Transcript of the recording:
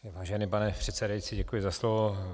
Vážený pane předsedající, děkuji za slovo.